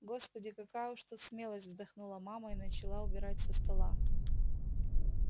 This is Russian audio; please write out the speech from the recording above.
господи какая уж тут смелость вздохнула мама и начала убирать со стола